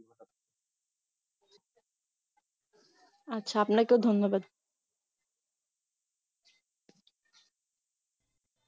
আচ্ছা আপনাকেও ধন্যবাদ.